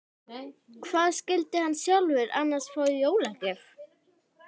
Hvað skyldi hann sjálfur annars fá í jólagjöf?